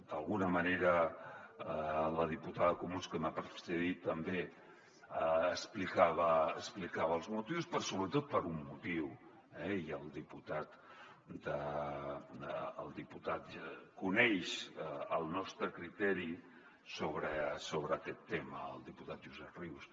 d’alguna manera la diputada dels comuns que m’ha precedit també n’explicava els motius però sobretot per un motiu eh i el diputat coneix el nostre criteri sobre aquest tema el diputat josep rius